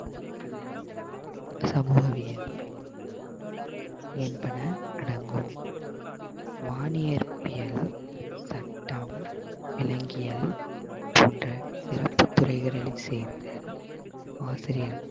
சமூகவியல் என்பன அடங்கும். வாணிஇயற்பியல், சட்டம் விலங்கியல் போன்ற சிறப்பு துறைகளை சேர்ந்த ஆசிரியர்